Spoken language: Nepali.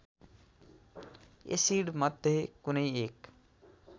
एसिडमध्ये कुनै एक